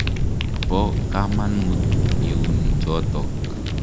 Po kamanut iun chotok.